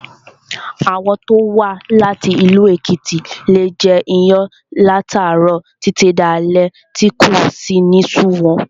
Àwọn tó wá láti ìlú Èkìtì leè jẹ iyán láti àárọ̀ títí di alé tí kò sì ní sú wọn